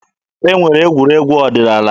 E nwere egwuregwu ọdịnaala.